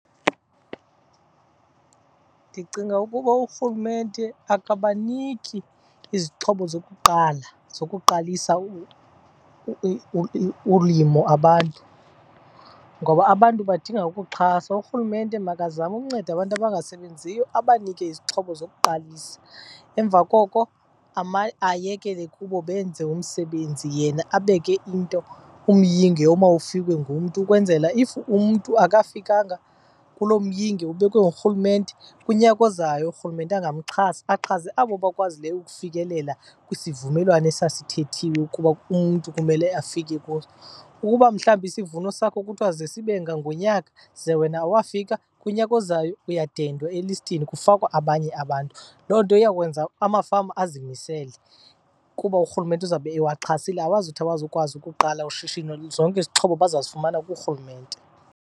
Ndicinga ukuba uRhulumente akabaniki izixhobo zokuqala zokuqalisa ulimo abantu ngoba abantu badinga ukuxhaswa. URhulumente makazame ukunceda abantu abangasebenziyo abanike izixhobo zokuqalisa, emva koko ayekele kubo benze umsebenzi. Yena abeke into, umyinge omawufikwe ngumntu ukwenzela if mntu akafikanga kuloo myinge ubekwe nguRhulumente, kunyaka ozayo uRhulumente angamxhasi axhase abo bakwazileyo ukufikelela kwisivumelwano esasithethiwe ukuba umntu kumele afike kuso. Ukuba mhlawumbi isivuno sakho kuthiwa ze sibenga ngonyaka ze wena awafika, kunyaka ozayo uyadendwa elistini kufakwa abanye abantu. Loo nto iyawukwenza amafama azimisele kuba uRhulumente uzawube ewaxhasile, awazuthi awazukwazi ukuqala ushishino, zonke izixhobo bazawuzifumana kuRhulumente.